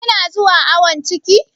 Kina zuwa awon ciki?